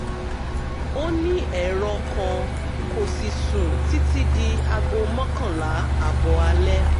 ó ní ẹ̀rọ kan kò sì sùn títí di aago mọ́kànlá ààbọ̀ alẹ́